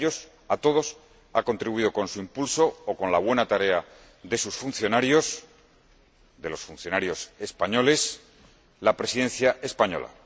A ellos, a todos, ha contribuido, con su impulso, o con la buena tarea de sus funcionarios, de los funcionarios españoles, la Presidencia española.